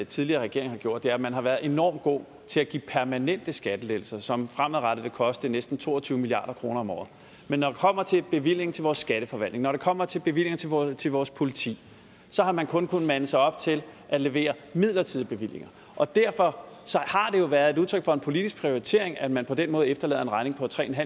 tidligere regering har gjort er at man har været enormt god til at give permanente skattelettelser som fremadrettet vil koste næsten to og tyve milliard kroner om året men når det kommer til bevillinger til vores skatteforvaltning når det kommer til bevillinger til vores til vores politi så har man kun kunnet mande sig op til at levere midlertidige bevillinger og derfor har det jo været et udtryk for en politisk prioritering at man på den måde efterlader en regning på tre